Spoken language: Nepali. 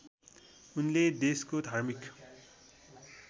उनले देशको धार्मिक